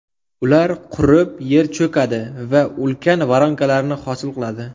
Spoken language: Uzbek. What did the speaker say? Ular qurib, yer cho‘kadi va ulkan voronkalarni hosil qiladi.